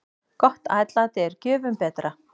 Gott atlæti er gjöfum betra.